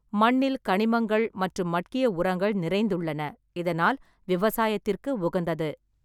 மண்ணில் கனிமங்கள் மற்றும் மட்கிய உரங்கள் நிறைந்துள்ளன, இதனால் விவசாயத்திற்கு உகந்தது.